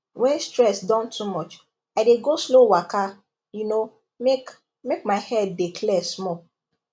when stress don too much i dey go slow waka you know make make my head dey clear small